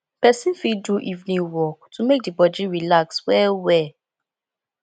person fit do evening walk to make di body relax well well